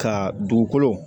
Ka dugukolo